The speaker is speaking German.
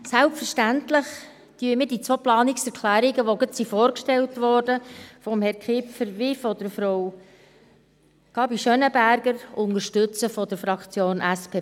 Selbstverständlich unterstützen wir von der Fraktion SP-PSAJUSO die beiden soeben von Herrn Kipfer und Frau Gabi Schönenberger vorgestellten Planungserklärungen.